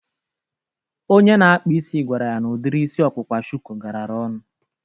Onye na-akpa isi gwara ya na udiri isi ọkpụkpa shuku garara ọnụ